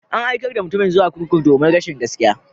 An aikar da mutumin zuwa kurkuku domin rashin gaskiya.